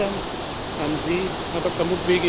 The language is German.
müssen. Gestern haben Sie,